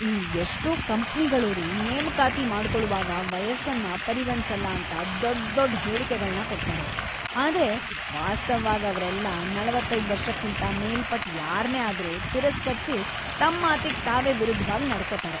ಈ ಎಷ್ಟೋ ಕಂಪ್ನಿಗಳೋರು ನೇಮಕಾತಿ ಮಾಡ್ಕೊಳುವಾಗ ವಯಸ್ಸನ್ನ ಪರಿಗಣ್ಸಲ್ಲ ಅಂತ ದೊಡ್ದೊಡ್ ಹೇಳಿಕೆಗಳ್ನ ಕೊಡ್ತಾರೆ, ಆದ್ರೆ ವಾಸ್ತವ್‌ವಾಗಿ ಅವ್ರೆಲ್ಲ ೪೫ ವರ್ಷಕ್ಕಿಂತ ಮೇಲ್ಪಟ್ ಯಾರ್ನೇ ಆದ್ರೂ ತಿರಸ್ಕರ್ಸಿ ತಮ್‌ ಮಾತಿಗ್‌ ತಾವೇ ವಿರುದ್ಧ್‌ವಾಗ್‌ ನಡ್ಕೋತಾರೆ.